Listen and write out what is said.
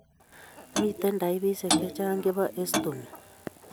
Miten taipisiek chechang chebo ostomy